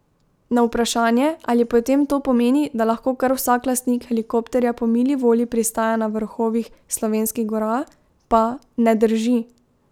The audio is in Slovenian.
Na vprašanje, ali potem to pomeni, da lahko kar vsak lastnik helikopterja po mili volji pristaja na vrhovih slovenskih gora, pa: 'Ne drži.